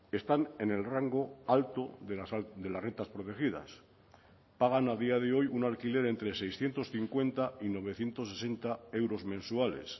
están en el rango alto de las rentas protegidas pagan a día de hoy un alquiler entre seiscientos cincuenta y novecientos sesenta euros mensuales